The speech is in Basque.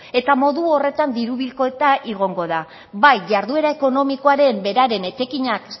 eta modu horretan diru bilketa egongo da bai jarduera ekonomikoaren beraren etekinak